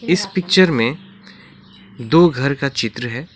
इस पिक्चर में दो घर का चित्र है।